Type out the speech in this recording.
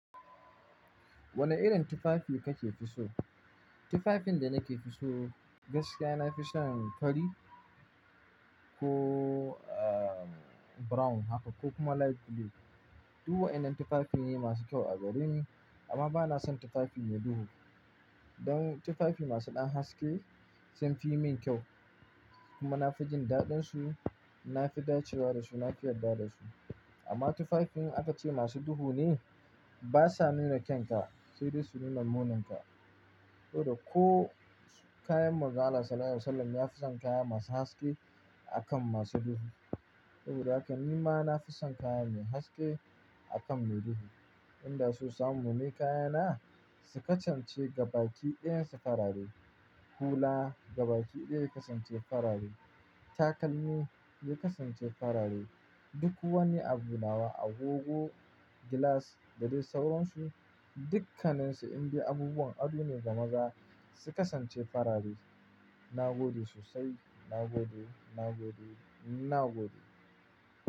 Wane irin tufafi kake fi so? Tufafin da nake fi so, gaskiya nafi son fari ko, uh, brown haka ko kuma light blue. Duk waƴannan tufafi ne masu kyau a gareni, amma bana son tufafi mai duhu. Don tufafi masu ɗan haske sun fi min kyau kuma na fi jin daɗinsu, na fi dacewa da su, na fi yarda da su. Amma tufafi, in aka ce masu duhu ne, ba sa nuna kyanka, sai dai su nuna muninka. Saboda ko, kayan Manzon Allah Sallallahu Alaihi Wasallam ya fi son kaya masu haske akan masu duhu. Saboda haka ni ma nafi son kaya mai haske, akan mai duhu. Inda so samu ne kayana, su kasance gabaki ɗayan su farare. Hula, gabaki ɗaya ya kasance farare, takalmi, ya kasance farare, duk wani abu nawa, agogo, gilas da dai sauransu, dukkaninsu in dai abubuwan ado ne ga maza su kasance farare. Na gode sosai, na gode, na gode, na gode.